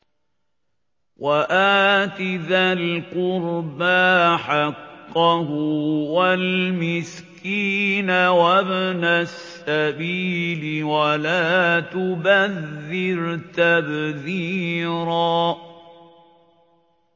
وَآتِ ذَا الْقُرْبَىٰ حَقَّهُ وَالْمِسْكِينَ وَابْنَ السَّبِيلِ وَلَا تُبَذِّرْ تَبْذِيرًا